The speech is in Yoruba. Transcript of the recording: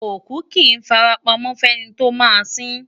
Òkú kì í fara pamọ́ fẹ́ni tí yóò sin ín.